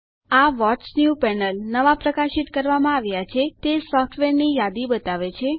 આ what's new panel નવા પ્રકાશિત કરવામાં આવ્યા છે તે સોફ્ટવેરની યાદી બતાવે છે